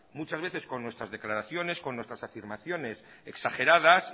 muchas veces con nuestras declaraciones con nuestras afirmaciones exageradas